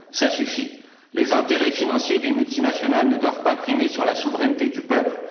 Ça suffit, les intérêts financiers des multinationales ne doivent pas primer sur la souveraineté du peuple.